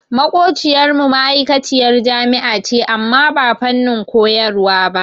Maƙociyar mu ma'aikaciyar jami'a ce amma ba fannin koyarwa ba.